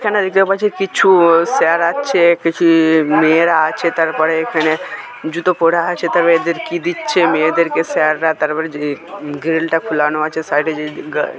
এখানে দেখতে পাচ্ছি কিছু-ই স্যার আছে_ কিছু-ই মেয়েরা আছে তারপরে এখানেজুতো পড়ে আছে তাবে এদের কি দিচ্ছেন মেয়েদেরকে স্যাররা তারপরে-ই গ্রি-গ্রিলটা আছে সাইডে যে--